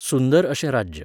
सुंदर अशें राज्य.